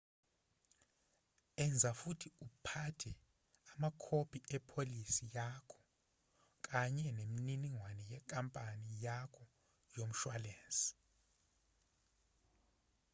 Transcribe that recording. enza futhi uphathe amakhophi epholisi yakho kanye neminingwane yenkampani yakho yomshwalensi